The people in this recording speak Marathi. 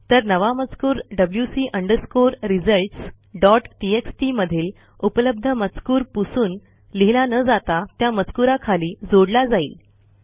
तर नवा मजकूर WC underscore results dot TXT मधील उपलब्ध मजकूर पुसून लिहिला न जाता त्या मजकूराखाली जोडला जाईल